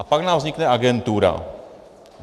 A pak nám vznikne agentura.